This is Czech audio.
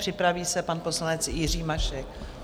Připraví se pan poslanec Jiří Mašek.